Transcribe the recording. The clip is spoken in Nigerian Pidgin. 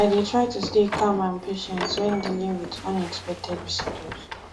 i dey try to stay calm and patient when dealing with unexpected visitors